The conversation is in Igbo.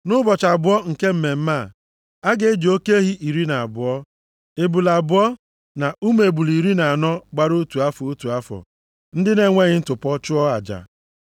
“ ‘Nʼụbọchị abụọ nke mmemme a, a ga-eji oke ehi iri na abụọ, ebule abụọ, na ụmụ ebule iri na anọ gbara otu afọ, otu afọ, ndị na-enweghị ntụpọ chụọ aja.